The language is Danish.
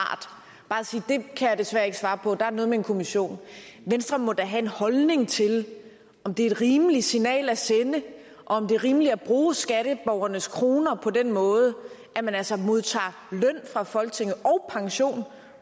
bare at sige det kan jeg desværre ikke svare på der er noget med en kommission venstre må da have en holdning til om det er et rimeligt signal at sende og om det er rimeligt at bruge skatteborgernes kroner på den måde at man altså modtager løn fra folketinget og pension